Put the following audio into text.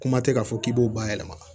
Kuma tɛ k'a fɔ k'i b'o bayɛlɛma